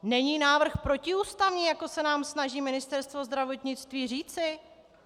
Není návrh protiústavní, jak se nám snaží Ministerstvo zdravotnictví říci?